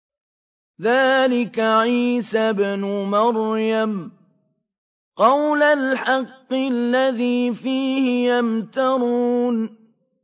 ذَٰلِكَ عِيسَى ابْنُ مَرْيَمَ ۚ قَوْلَ الْحَقِّ الَّذِي فِيهِ يَمْتَرُونَ